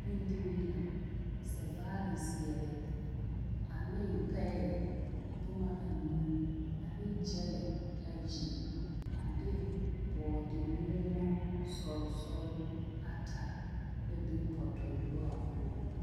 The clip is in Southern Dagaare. Bondirii la zɛvaare zeɛre ane paɛ boma anuu ane gyɛlɛ ayi a de bɔɔdemoɔmo sɔl sɔl ata la be potoyua poɔ.